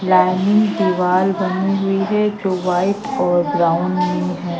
Lining दीवाल बनी हुई है जो वाइट और ब्राउन मे है।